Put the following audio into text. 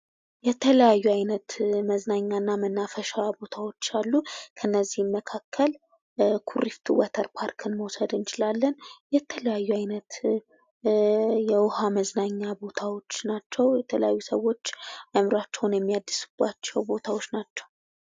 የተለያዩ አይነት መዝናኛ እና መናፈሻ ቦታዎች አሉ ከእነዚህ መካከል ኩሪፍቱ ወተር ፓርክን መውሰድ እንችላለን ። የተለያዩ አይነት የውሃ መዝናኛ ቦታዎች ናቸው የተለያዩ ሰዎች አእምሯቸውን የሚያድሱባቸው ቦታዎች ናቸው ።